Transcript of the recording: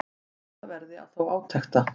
Bíða verði þó átekta.